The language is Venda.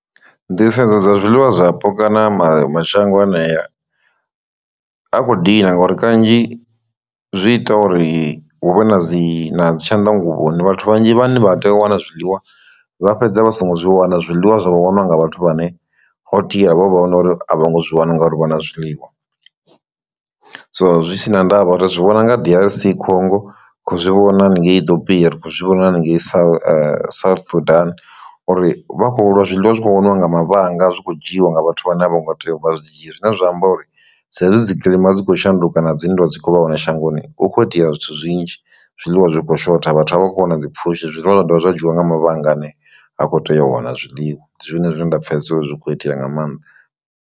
Nḓisedzo dza zwiḽiwa zwapo kana mashango anea a kho dina ngori kanzhi zwi ita uri huvhe na dzi na dzi tshanḓanguvhoni vhathu vhanzhi vhane vha tea u wana zwiḽiwa vha fhedza vha songo zwi wana zwiḽiwa zwa vhoniwa nga vhathu vhane ho tea havho vha hone uri a vho ngo zwi wana ngauri vhona zwiḽiwa. So zwi si na ndavha uri zwi vhona nga D_R_C Congo kho zwi vhona haningei Ithopia ri khou zwi vhona haningei South Sudan uri vha khou lwa zwiḽiwa zwi kho waniwa nga mavhanga zwi kho dzhiwa nga vhathu vhane a vho ngo tea u vha zwi dzhie. Zwine zwa amba uri sa izwi dzi kilima dzi kho shanduka na dzinndwa dzi kho vha hone shangoni hu kho itea zwithu zwinzhi zwiḽiwa zwi khou shotha vhathu a vha khou wana dzi pfushi zwiḽiwa zwa dovha zwa dzhiwa nga mavhanga ane ha khou tea u wana zwiḽiwa zwine zwine nda pfesesa uri zwi kho itea nga maanḓa.